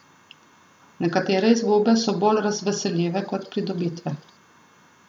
Nekatere izgube so bolj razveseljive kot pridobitve.